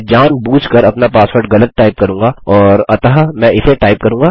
मैं जान बूझकर अपना पासवर्ड गलत टाइप करूँगा और अतः मैं इसे टाइप करूँगा